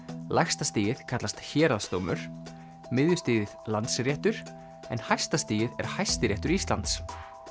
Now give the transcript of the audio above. lægsta stigið kallast héraðsdómur Landsréttur en hæsta stigið er Hæstiréttur Íslands